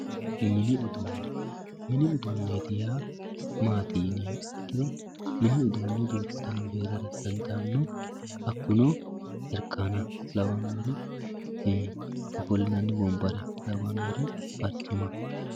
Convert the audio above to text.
mini uduunne mini uduunne yaa maati yineemmo ikkiro mini uduunni duuchu danihu heerara dandaanno hakkuno jarkaana lawannori ofollinanni wombare lawannori barcima